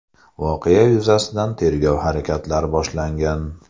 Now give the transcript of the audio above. Voqea yuzasidan tergov harakatlari boshlangan.